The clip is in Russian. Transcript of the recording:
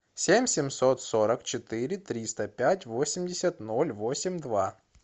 семь семьсот сорок четыре триста пять восемьдесят ноль восемь два